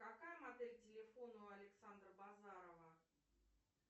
какая модель телефона у александра базарова